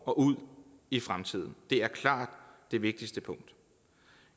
og ud i fremtiden det er klart det vigtigste punkt